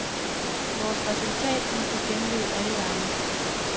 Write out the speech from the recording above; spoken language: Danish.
Vores resultat må give genlyd alle vegne.